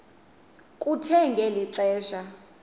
kuthe ngeli xesha